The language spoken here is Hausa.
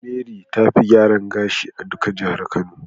Mary be ta Fi gyaran gashi a duka jihar kano.